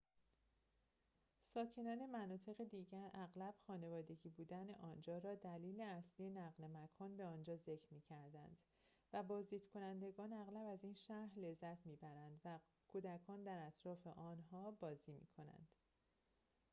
ساکنان مناطق دیگر اغلب خانوادگی بودن آنجا را دلیل اصلی نقل مکان به آنجا ذکر می کنند و بازدیدکنندگان اغلب از این شهر لذت می‌برند و کودکان در اطراف آنها بازی می‌کنند